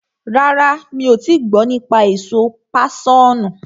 Rárá, mi ò tii gbọ́ nípa èso páṣọ̀nù.